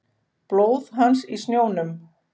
Blóð hans í snjónum.